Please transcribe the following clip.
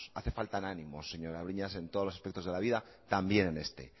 hace faltan ánimos señora breñas en todos los aspectos de la vida también en este